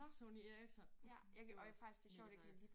Sony Ericsson. Det var mega sejt